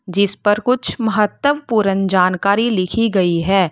जिसपर कुछ महत्वपूर्ण जानकारी लिखी गई है।